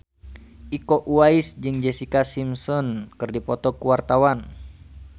Iko Uwais jeung Jessica Simpson keur dipoto ku wartawan